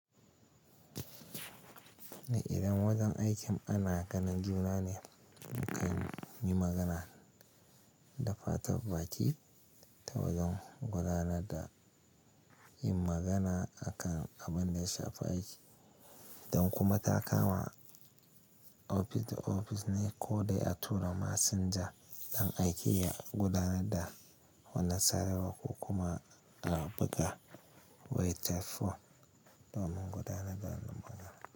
Idan wajen aikin ana ganin juna ne, ku ka yi magana da fatan baki ta wajen gudanar da yin magana akan abin da ya shafi aiki, don kuma ta kama ofis da ofis ne ko dai a tura masinja don a iya gudanar da wani sarewa ko kuma a buga waytafo domin gudanar da magana.